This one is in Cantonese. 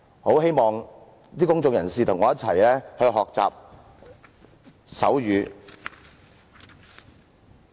我希望公眾人士和我一起學習手語。